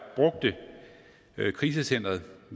brugte krisecenteret